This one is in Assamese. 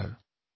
নমস্কাৰ